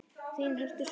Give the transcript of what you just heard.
Þín Herdís Rós.